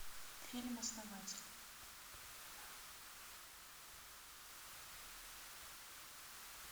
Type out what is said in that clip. фильм основатель